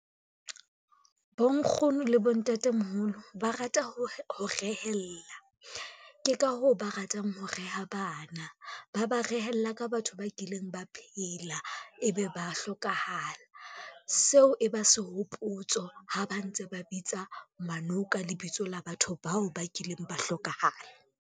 Bonkgono le bontatemoholo, ba rata ho rehellla, ke ka hoo ba ratang ho reha bana. Ba ba rehella ka batho ba kileng ba phela, ebe ba hlokahala. Seo e ba sehopotso ha ba ntse ba bitsa ngwaneo ka lebitso la batho bao ba kileng ba hlokahala.